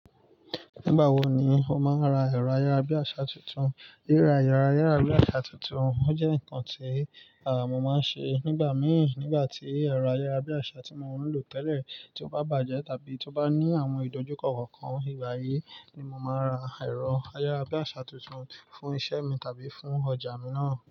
Nígbà wo ni o máa ra ẹ̀rọ ayárabíàṣá tuntun? Ríra ẹ̀rọ ayárabíàṣá tuntun o jẹ́ nǹkan tí à mo máa ń ṣe nígbà míì nígbà tí ẹ̀rọ ayárabíàṣá tí mo ń lò tẹ́lẹ̀ tí ó bá bàjẹ́ tàbí tí ó bá ní àwọn ìdojúkọ kọ̀ọ̀kan. Ìgbà yí ni mo màá n ra ẹ̀rọ ayárabíàṣá tuntun fún iṣẹ́ mi tàbí fún ọjà mi náà.